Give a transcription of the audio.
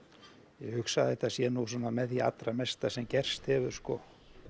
ég hugsa að þetta sé nú með því mesta sem gerst hefur sko